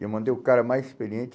E eu mandei o cara mais experiente.